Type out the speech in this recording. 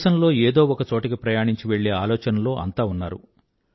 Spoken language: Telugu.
దేశంలో ఏదో ఒక చోటికి ప్రయాణించి వెళ్ళే ఆలోచనలో అంతా ఉన్నారు